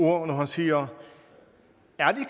ord når han siger